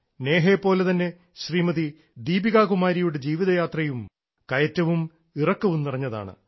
നേഹയെപ്പോലെ തന്നെ ശ്രീമതി ദീപികാ കുമാരിയുടെ ജീവിതയാത്രയും കയറ്റവും ഇറക്കവും നിറഞ്ഞതാണ്